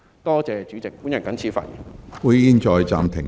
多謝主席，我謹此發言。